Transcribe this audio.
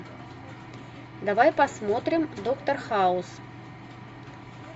давай посмотрим доктор хаус